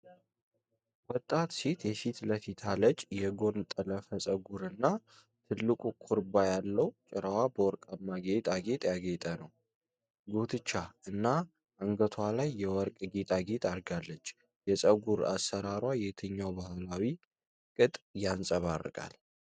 ወጣት ሴት የፊት ለፊት አለጭ የጎን ጠለፈ ፀጉር እና ትልቅ ኩርባ ያለው ጭራዋ በወርቃማ ጌጥ ያጌጠ ነው። ጉትቻ እና አንገቷ ላይ የወርቅ ጌጣጌጥ አድርጋለች። የፀጉር አሠራሯ የትኛውን ባህላዊ ቅጥ ያንጸባርቃል?